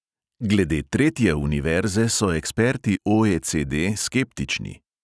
Glede tretje univerze so eksperti OECD skeptični.